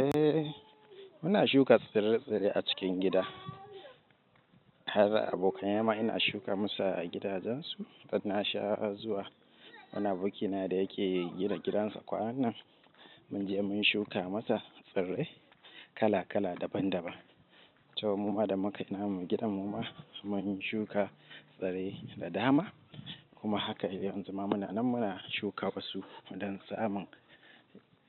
Eh, ina shuka tsire-tsire a cikin gida. Kaga abokaina ma, inq shuka masara acikin gidajen su mu shawara zuwa wani abokina da yake gina gida to mu ma da mukanyi nan gidan mu, ma mun shuka tsirai da dama, kuma haka yanzu ma muna nan muna shuka wasu don samun